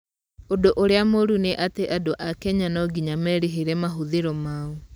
ũndũ ũrĩa mũru nĩ atĩ andũ a Kenya no nginya merĩhĩre mahũthĩro mao.